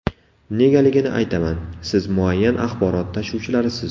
Negaligini aytaman: siz muayyan axborot tashuvchilarisiz.